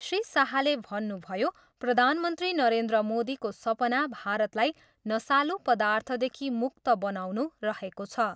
श्री शाहले भन्नुभयो, प्रधानमन्त्री नरेन्द्र मोदीको सपना भारतलाई नसालु पर्दाथदेखि मुक्त बनाउनु रहेको छ।